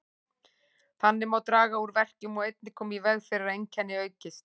Þannig má draga úr verkjum og einnig koma í veg fyrir að einkennin aukist.